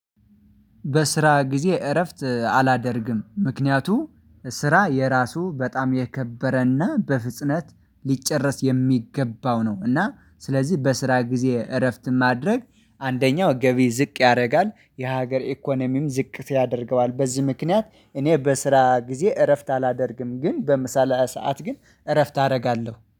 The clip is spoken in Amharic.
በስራ ጊዜ እረፍት አላደርግም ምክንያቱም ስራ የራሱ በጣም የከበረና በፍጥነት ሊጨረስ የሚገባው ነው። እና ስለዚህ በስራ ጊዜ እረፍት ማድረግ አንደኛው ገቢ ዝቅ ያደርጋል የሀገር ኢኮኖሚም ዝቅ ያደርገዋል። በዚህ ምክንያት እኔ በስራ ጊዜ እረፍት አላደርግም ግን በምሳ ሰዓት ግን እረፍት አደርጋለሁ